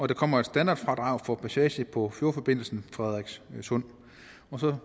der kommer et standardfradrag for passage på fjordforbindelsen frederikssund